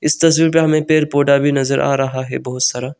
इस तस्वीर पे हमें पेड़ पौधा भी नजर आ रहा है बहुत सारा।